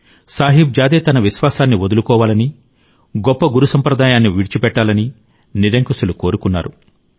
సాహిబ్ జాదే తన విశ్వాసాన్ని వదులుకోవాలని గొప్ప గురు సంప్రదాయాన్ని విడిచిపెట్టాలని నిరంకుశులు కోరుకున్నారు